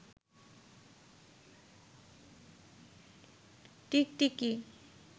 টিকটিকি